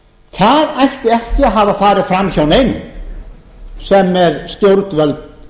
það ætti ekki að hafa farið fram hjá neinum sem með stjórnvöld